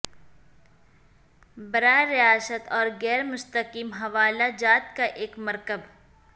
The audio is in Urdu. براہ راست اور غیر مستقیم حوالہ جات کا ایک مرکب